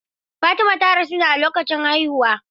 Fatima ta rasu ne a lokacin haihuwa.